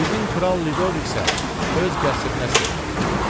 Sizin kral Lidovik isə öz qəsrinə sığınıb.